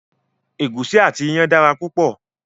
Egusi àti iyán dára púpọ̀